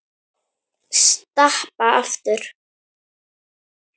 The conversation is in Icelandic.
Stappa aftur.